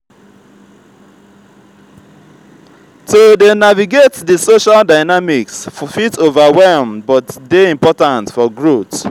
to dey navigate di social dynamics fit overwhelm but dey important for growth.